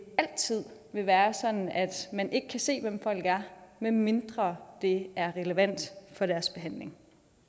altid vil være sådan at man ikke kan se hvem folk er medmindre det er relevant for deres behandling